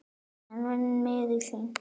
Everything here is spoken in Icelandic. Hann var miður sín.